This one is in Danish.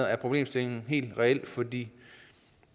er problemstillingen helt reel fordi